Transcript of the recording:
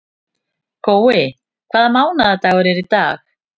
Gói, hvaða mánaðardagur er í dag?